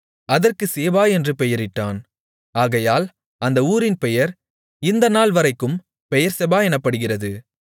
அதற்கு சேபா என்று பெயரிட்டான் ஆகையால் அந்த ஊரின் பெயர் இந்த நாள்வரைக்கும் பெயெர்செபா எனப்படுகிறது